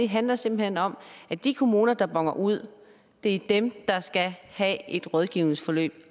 handler simpelt hen om at de kommuner der boner ud er dem der skal have et rådgivningsforløb